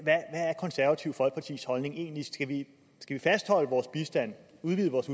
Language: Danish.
konservative folkepartis holdning egentlig skal vi fastholde vores bistand udvide vores